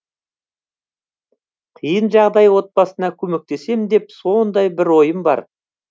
қиын жағдай отбасына көмектесем деп сондай бір ойым бар